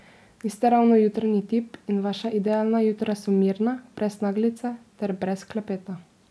Niste ravno jutranji tip in vaša idealna jutra so mirna, brez naglice ter brez klepeta.